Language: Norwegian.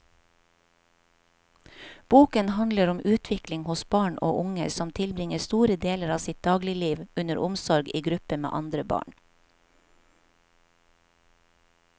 Boken handler om utvikling hos barn og unge som tilbringer store deler av sitt dagligliv under omsorg i gruppe med andre barn.